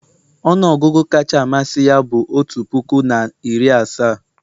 ọnụ ọgụgụ kacha amasị ya bụ otu puku na iri asaa